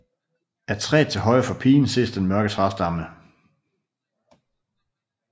Af træet til højre for pigen ses den mørke træstamme